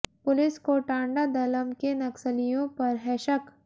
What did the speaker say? police को टांडा दलम के नक्सलियों पर है शक